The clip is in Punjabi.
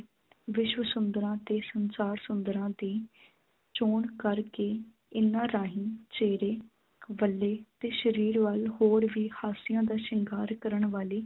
ਵਿਸ਼ਵ ਸੁੰਦਰਾਂ ਅਤੇ ਸੰਸਾਰ ਸੁੰਦਰਾਂ ਦੀ ਚੋਣ ਕਰਕੇ ਇਨ੍ਹਾਂ ਰਾਹੀਂ ਚਿਹਰੇ ਵੱਲੇ ਅਤੇ ਸਰੀਰ ਵੱਲ ਹੋਰ ਵੀ ਹਾਸਿਆਂ ਦਾ ਸ਼ਿੰਗਾਰ ਕਰਨ ਵਾਲੀ